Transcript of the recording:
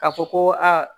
Ka fɔ ko aa